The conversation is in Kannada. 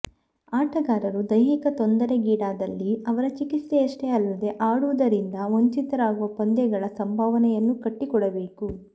ಆಟಗಾರರು ದೈಹಿಕ ತೊಂದರೆಗೀಡಾದಲ್ಲಿ ಅವರ ಚಿಕಿತ್ಸೆಯಷ್ಟೇ ಅಲ್ಲದೆ ಆಡುವುದರಿಂದ ವಂಚಿತರಾಗುವ ಪಂದ್ಯಗಳ ಸಂಭಾವನೆಯನ್ನೂ ಕಟ್ಟಿ ಕೊಡಬೇಕು